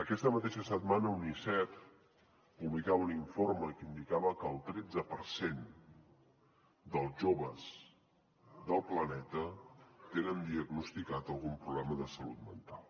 aquesta mateixa setmana unicef publicava un informe que indicava que el tretze per cent dels joves del planeta tenen diagnosticat algun problema de salut mental